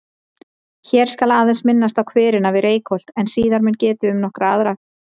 Hér skal aðeins minnst á hverina við Reykholt en síðar mun getið um nokkra aðra.